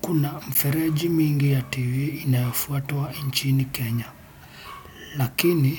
Kuna mfereji mingi ya tv inayofuatwa nchini Kenya. Lakini